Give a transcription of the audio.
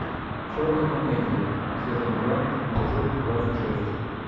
черные комедии сезон два эпизод двадцать шесть